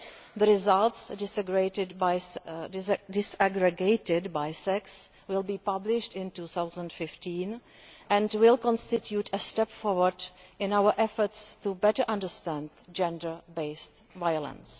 The results, disaggregated by sex, will be published in 2015 and will constitute a step forward in our efforts to better understand gender based violence.